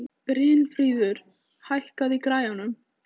Brynfríður, hækkaðu í græjunum.